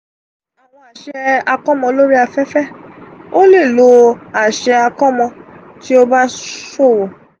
awọn aṣẹ akọmọ lori afefe: o le lo aṣẹ akọmọ ti o ba ṣowo.